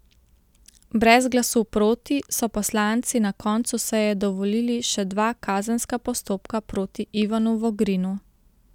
Brez glasu proti so poslanci na koncu seje dovolili še dva kazenska postopka proti Ivanu Vogrinu.